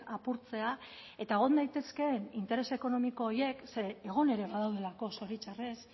apurtzea eta egon daitezkeen interes ekonomiko horiek ze egon ere badaudelako zoritxarrez